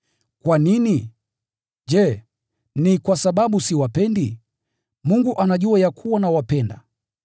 Kwa nini? Je, ni kwa sababu siwapendi? Mungu anajua ya kuwa nawapenda!